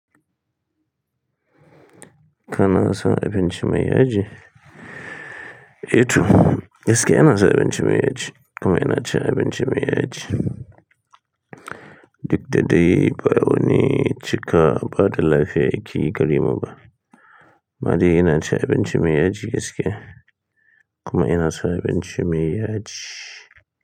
Kana san abinci mayyaji. Eto, gaskiya ina san abinci mai yaji Kuma ina cin abinci mai yaji. Duk da dai, bawani cika bada lafiya yakeyi garemu ba. Amma dai ina cin abinci mai yaji gaskiya. Kuma ina son abinci mai yaji.